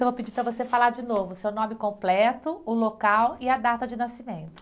Eu vou pedir para você falar de novo o seu nome completo, o local e a data de nascimento.